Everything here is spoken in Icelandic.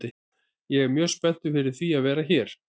Ég er mjög spenntur fyrir því að vera hér.